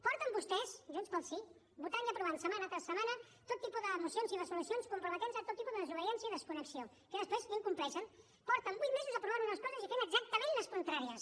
porten vostès junts pel sí votant i aprovant setmana rere setmana tot tipus de mocions i resolucions comprometent se a tot tipus de desobediència i desconnexió que després incompleixen porten vuit mesos aprovant unes coses i fent exactament les contràries